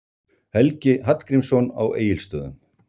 Helgi Hallgrímsson á Egilsstöðum